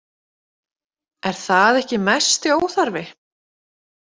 Er það ekki mesti óþarfi?